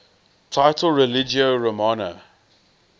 title religio romana